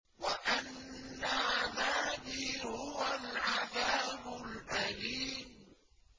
وَأَنَّ عَذَابِي هُوَ الْعَذَابُ الْأَلِيمُ